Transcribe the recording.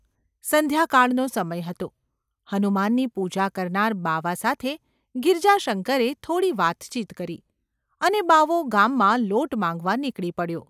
સંધ્યાકાળનો સમય હતો. હનુમાનની પૂજા કરનાર બાવા સાથે ગિરજાશંકરે થોડી વાતચીત કરી અને બાવો ગામમાં લોટ માગવા નીકળી પડ્યો.